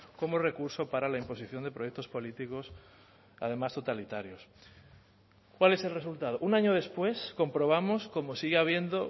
como recurso para la imposición de proyectos políticos además totalitarios cuál es el resultado un año después comprobamos como sigue habiendo